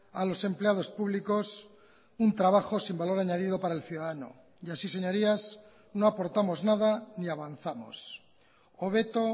a los empleados públicos un trabajo sin valor añadido para el ciudadano y así señorías no aportamos nada ni avanzamos hobeto